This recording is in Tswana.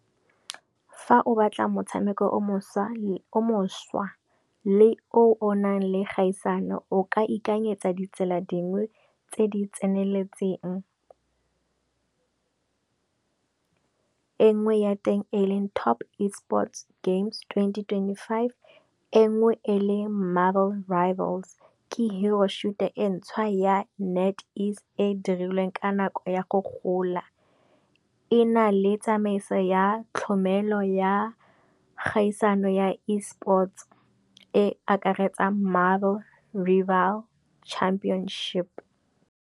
Fa o batla motshameko o mošwa le o nang le kgaisano o ka ikakanyetsa ditsela dingwe tse di tseneletseng. E nngwe ya teng eleng Top Esports games twenty twenty five, engwe e le Marvel Rivals, ke Hero shooter e ntšhwa ya Netease e dirilweng ka nako go ya go gola. E na le tsamaiso ya tlhomelo ya kgaisano ya Esports e akaretsa Marvel Rival championship.